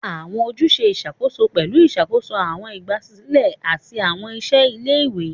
Awọn ojuse iṣakoso pẹlu iṣakoso awọn igbasilẹ ati awọn iṣẹ ile-iwe.